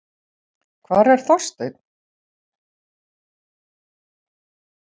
Hvar er Þorsteinn?